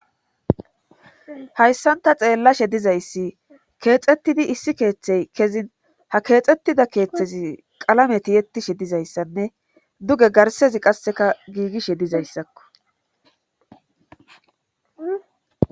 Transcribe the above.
hayssanta xeellashe dizayssi keexettidi issi keeththey kezin ha keexettida keeththezi qalametiyettishe dizayssanne duge garsezi qasseka giigishe dizayssakko